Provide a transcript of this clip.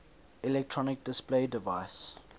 electronic display device